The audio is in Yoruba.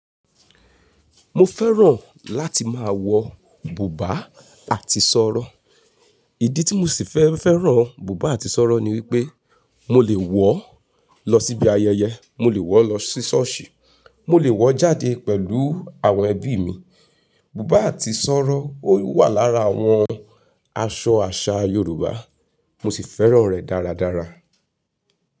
Mo fẹ́ràn láti máa wọ bùbá àti sọ̀rọ̀. Ìdí tí mo sì fẹ́ fẹ́ràn bùbá àti sọ̀rọ̀ ni wípé mo lè wọ̀ọ́ lọ síbi ayẹyẹ, mo lè wọ̀ọ́ lọ sí ṣọ́ọ̀ṣì, mo lè wọ̀ọ́ jáde pẹ̀lú àwọn ẹbí mi. Bùbá àti sọ́rọ́, ó wà lára àwọn aṣọ àṣà Yorùbá, mo sì fẹ́ràn rẹ̀ dáradára.